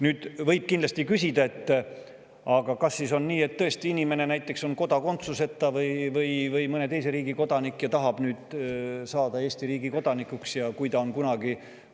Nüüd, võib kindlasti küsida, et kas tõesti on nii, et kui inimene on näiteks kodakondsuseta või mõne teise riigi kodanik ja tahab saada Eesti riigi kodanikuks, aga ta on kunagi – rõhutan!